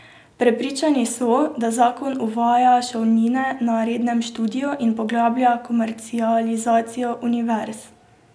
Prepričani so, da zakon uvaja šolnine na rednem študiju in poglablja komercializacijo univerz.